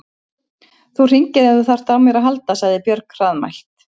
Þú hringir ef þú þarft á mér að halda, sagði Björg hraðmælt.